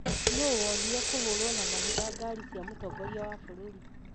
nũ wonire kũhũũrũo na mahiga ngaari cia mũtongoria wa bururi?